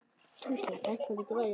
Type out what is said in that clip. Hauksteinn, hækkaðu í græjunum.